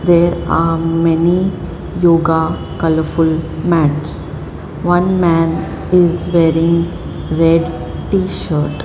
there are many yoga colourful mats one man is wearing red t-shirt.